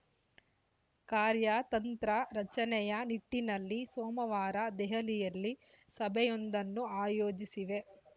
ಕಾರ್ಯತಂತ್ರ ರಚನೆಯ ನಿಟ್ಟಿನಲ್ಲಿ ಸೋಮವಾರ ದೆಹಲಿಯಲ್ಲಿ ಸಭೆಯೊಂದನ್ನು ಆಯೋಜಿಸಿವೆ